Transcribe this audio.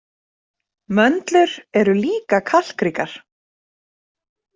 Möndlur eru líka kalkríkar.